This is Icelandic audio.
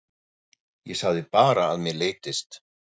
Ég sagði bara að mér leiddist.